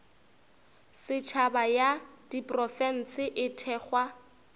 setšhaba ya diprofense e thekgwa